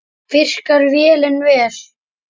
Virkar vélin vel?